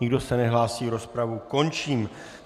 Nikdo se nehlásí, rozpravu končím.